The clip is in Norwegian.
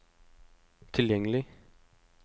tilgjengelig